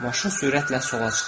Maşın sürətlə sola çıxır.